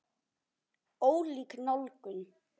Ólík nálgun.